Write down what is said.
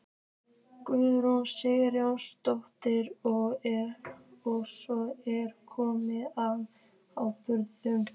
Guðrún Sigurðardóttir: Og svo ertu kominn með áburð?